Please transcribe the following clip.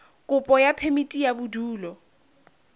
kopo ya phemiti ya bodulo